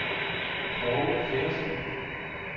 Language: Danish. Poul Feddersen